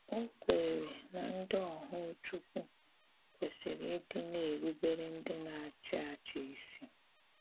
Ò kweèrè na ndị òhù Chúkwú kwesìrì ìdị̀ nà-erùbèrè ndị na-achị́ achì́ ísì.